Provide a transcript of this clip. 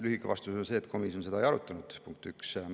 Lühike vastus on see, et komisjon seda ei arutanud, punkt üks.